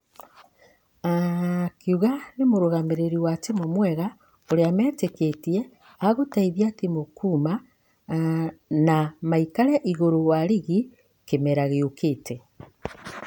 ....akĩuga nĩ mũrugamĩrĩri wa timũ mwega ũriameteketia agũteithia timũ kuuma.....na maikare igũrũ wa rigi kĩmera gĩokĩte.